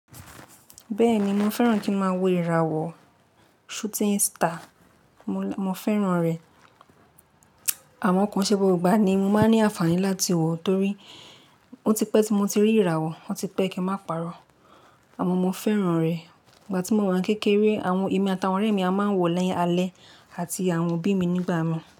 Bẹ́ẹ̀ni mo fẹ́ràn kí ń má wò ìràwọ̀ shooting star, mo fẹ́ràn rẹ̀. Àmọ́ kò nṣe gbogbo igbá ni mo máa ń ní ànfàní láti wòó torí ó ti pẹ́ tí mo ti rí ìràwọ̀, ó ti pẹ́ kí ń máa pa'rọ́. Àmọ́ mo fẹ́ràn rẹ̀. Ìgbà tí mo wà ní kékeré, àwọn èmi àti àwọn ọ̀rẹ́ mi a máa ń wọ̀ ó ní alẹ́ àti àwọn òbí mi nígbà mìí.